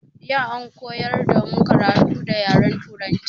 Yau an koyar damu karatu da yaren turanci.